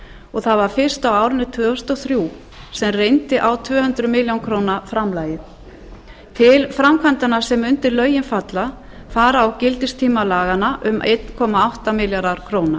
og það var fyrst á árinu tvö þúsund og þrjú sem reyndi á tvö hundruð milljóna króna framlagið til framkvæmdanna sem undir lögin falla fara á gildistíma laganna um einn komma átta milljarðar króna